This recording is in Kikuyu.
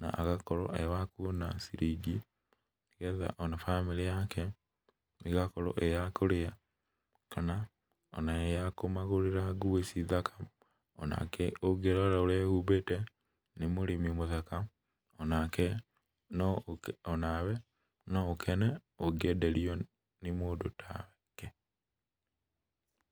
na agakorwo e wakuona ciringi, getha ona bamĩrĩ yake, ígakorwo ĩ yakũrĩa, kana ona ĩya kũmagũrĩra nguo ici thaka, onake ũngĩrora ũrĩa ehumbĩte, nĩ mũrĩmi mũthaka, onake no ũkĩ, onawe, noũkene ũngĩenderio nĩ mũndũ take.